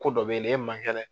Ko dɔ b'e la e man kɛnɛ